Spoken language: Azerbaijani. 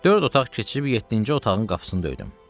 Dörd otaq keçib yeddinci otağın qapısını döydüm.